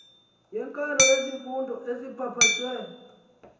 yeenkalo zezifundo ezipapashwe